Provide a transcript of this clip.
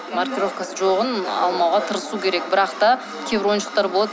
маркировкасы жоғын алмауға тырысу керек бірақ та кейбір ойыншықтар болады